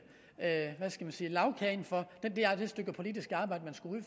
hvad skal jeg sige lagkagen for det stykke politiske arbejde man skulle